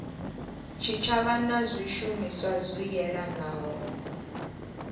tshitshavha na zwishumiswa zwi yelanaho